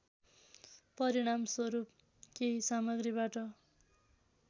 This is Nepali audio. परिणामस्वरूप केही सामग्रीबाट